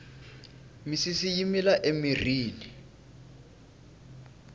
misisi yi mila emirhini